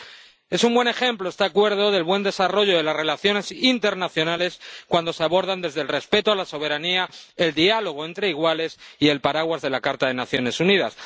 Este Acuerdo es un buen ejemplo del buen desarrollo de las relaciones internacionales, cuando se abordan desde el respeto a la soberanía, el diálogo entre iguales y el paraguas de la Carta de las Naciones Unidas.